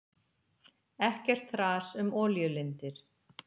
Ekkert þras um olíulindir.